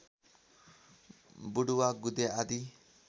वुडुवा गुदे आदि